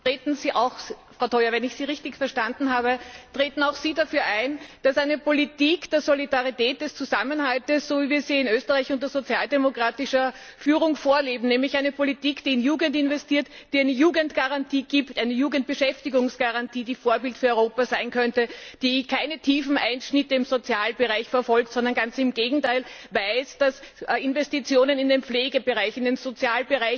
Frau Toia, wenn ich Sie richtig verstanden habe, treten auch Sie für eine Politik der Solidarität, des Zusammenhalts ein, so wie wir sie in Österreich unter sozialdemokratischer Führung vorleben nämlich eine Politik, die in Jugend investiert, die eine Jugendbeschäftigungsgarantie gibt, die Vorbild für Europa sein könnte, die keine tiefen Einschnitte im Sozialbereich verfolgt, sondern ganz im Gegenteil weiß, dass Investitionen in den Pflegebereich in den Sozialbereich,